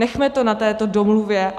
Nechme to na této domluvě.